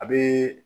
A bɛ